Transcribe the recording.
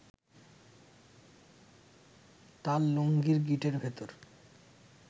তাঁর লুঙ্গির গিঁটের ভেতর